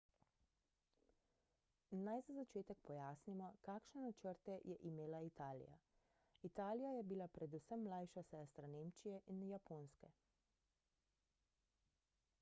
naj za začetek pojasnimo kakšne načrte je imela italija italija je bila predvsem mlajša sestra nemčije in japonske